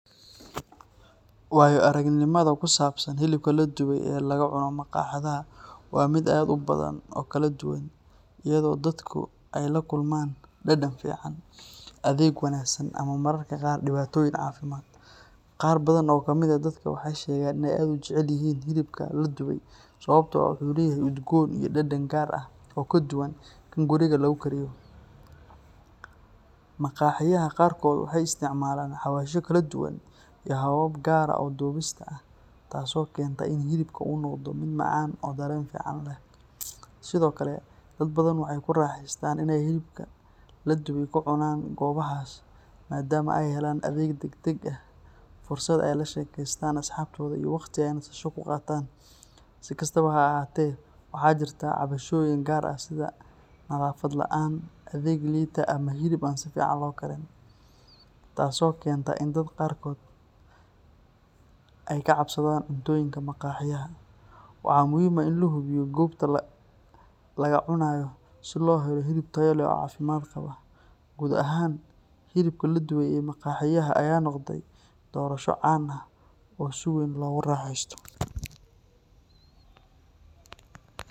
Wayo aragnimada ku saabsan hilibka la dubay ee lagu cuno maqaaxiyaha waa mid aad u badan oo kala duwan, iyadoo dadku ay la kulmaan dhadhan fiican, adeeg wanaagsan ama mararka qaar dhibaatooyin caafimaad. Qaar badan oo ka mid ah dadka waxay sheegaan inay aad u jecel yihiin hilibka la dubay sababtoo ah wuxuu leeyahay udgoon iyo dhadhan gaar ah oo ka duwan kan guriga lagu kariyo. Maqaaxiyaha qaarkood waxay isticmaalaan xawaashyo kala duwan iyo habab gaar ah oo dubista ah taasoo keenta in hilibka uu noqdo mid macaan oo dareen fiican leh. Sidoo kale, dad badan waxay ku raaxaystaan inay hilibka la dubay ku cunaan goobahaas maadaama ay helaan adeeg degdeg ah, fursad ay la sheekaystaan asxaabtooda iyo waqti ay nasasho ku qaataan. Si kastaba ha ahaatee, waxaa jirta cabashooyin qaar sida nadaafad la’aan, adeeg liita ama hilib aan si fiican loo karin, taasoo keenta in dad qaarkood ay ka cabsadaan cuntooyinka maqaaxiyaha. Waxaa muhiim ah in la hubiyo goobta laga cunayo, si loo helo hilib tayo leh oo caafimaad qaba. Guud ahaan, hilibka la dubay ee maqaaxiyaha ayaa noqday doorasho caan ah oo si weyn loogu raaxeysto.